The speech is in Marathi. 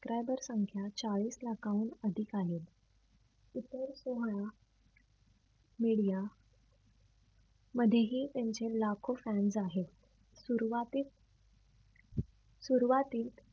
subscriber संख्या चाळीस लाखाहून अधिक आहे. media मधेही त्यांचे लाखो fans आहेत. सुरुवातीस सुरवातीत